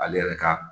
Ale yɛrɛ ka